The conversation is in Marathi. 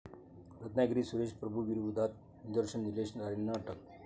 रत्नागिरीत सुरेश प्रभूंविरोधात निदर्शन, निलेश राणेंना अटक